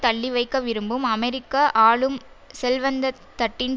தள்ளிவைக்க விரும்பும் அமெரிக்க ஆளும் செல்வந்த தட்டின்